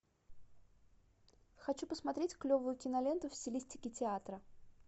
хочу посмотреть клевую киноленту в стилистике театра